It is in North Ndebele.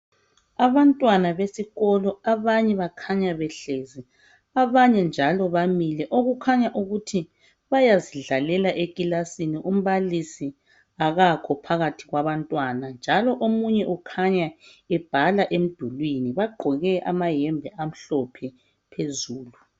Abantwana besikolo abanye bakhanya behlezi abanye njalo bamile okukhanya ukuthi bayazidlalela ekilasini umbalisi akakho phakathi kwabantwana njalo omunye ukhanya ebhala emidulwini bagqoke amayembe amhlophe phezulu.